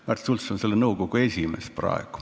Märt Sults on selle nõukogu esimees.